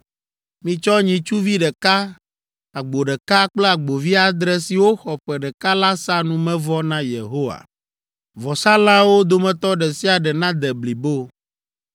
Mitsɔ nyitsuvi ɖeka, agbo ɖeka kple agbovi adre siwo xɔ ƒe ɖeka la sa numevɔ na Yehowa. Vɔsalãwo dometɔ ɖe sia ɖe nade blibo.